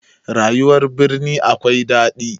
Rayuwar birni akwai daɗi